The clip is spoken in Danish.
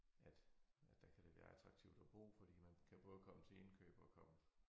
At at der kan det være attraktivt at bo fordi man kan både komme til indkøb og komme